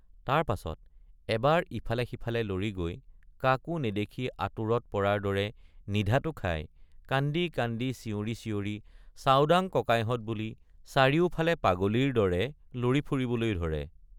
তাৰ পাছত এবাৰ ইফালেসিফালে লৰি গৈ কাকো নেদেখি আতুৰত পৰাৰ দৰে নিধাতু খাই কান্দি কান্দি চিঞৰি চিঞৰি চাওডাঙ ককাইহঁত বুলি চাৰিওফালে পাগলীৰ দৰে লৰি ফুৰিবলৈ ধৰে।